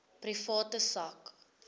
private sak